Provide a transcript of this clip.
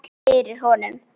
Fyrir honum.